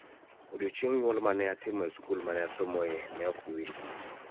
Odiechieng' nyuol ma ne atimo e skul ma ne asomoe ne ok bi wilgo